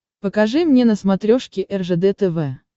покажи мне на смотрешке ржд тв